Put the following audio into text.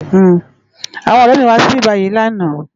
Awòn òrè mi wá sibibáyi làná